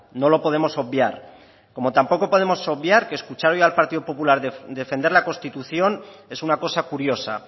no lo podemos obviar como tampoco podemos obviar que escuchar hoy al partido popular defender la constitución es una cosa curiosa